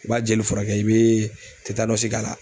I b'a jeli furakɛ i be k'a la.